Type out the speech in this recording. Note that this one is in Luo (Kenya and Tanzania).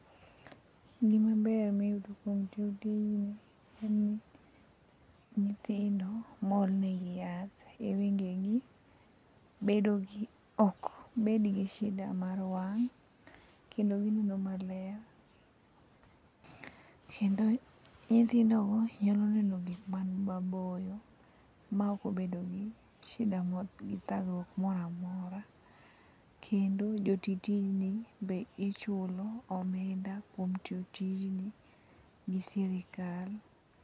Gima ber miyudo kuom tiyo tijni en ni, nyithindo mool nigi yath e wengegi ok bed gi shida mar wang' kendo gineno maler. Kendo nyithindogo nyalo neno gik man maboyo maok obedo gi thagruok moro amora. Kendo jo ti tijni be ichulo omenda kuom tiyo tijni gi sirikal.